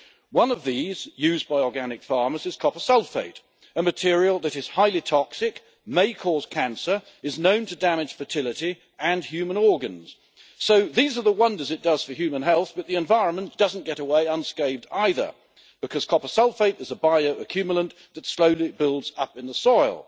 One of these, used by organic farmers, is copper sulphate, a material that is highly toxic, may cause cancer and is known to damage fertility and human organs. These are the wonders it does for human health, but the environment doesn't get away unscathed either, because copper sulphate is bio accumulant that slowly builds up in the soil.